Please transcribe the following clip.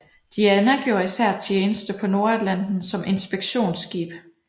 Diana gjorde især tjeneste på Nordatlanten som inspektionsskib